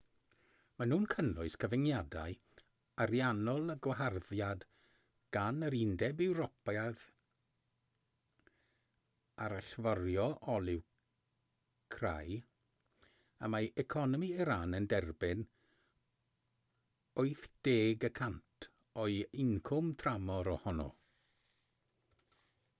maen nhw'n cynnwys cyfyngiadau ariannol a gwaharddiad gan yr undeb ewropeaidd ar allforio olew crai y mae economi iran yn derbyn 80% o'i incwm tramor ohono